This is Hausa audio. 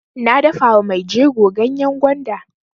Na dafa wa mai jego ganyan gwanda.